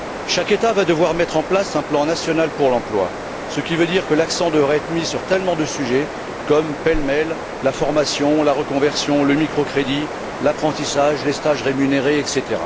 Chaque État va devoir mettre en place un plan national pour l'emploi, ce qui veut dire que l'accent devra être mis sur un grand nombre de sujets comme, pêle mêle, la formation, la reconversion, le microcrédit, l'apprentissage, les stages rémunérés, etc.